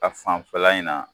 A fanfɛla in na.